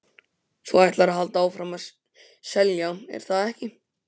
Þú ætlar að halda áfram að selja, er það ekki?